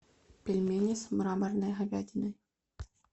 пельмени с мраморной говядиной